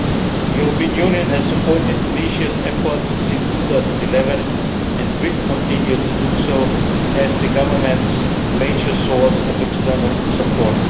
The European Union has supported Tunisia's efforts since 2011 and will continue to do so as the government's major source of external support.